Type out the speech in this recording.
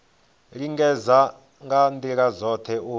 lingedza nga ndila dzothe u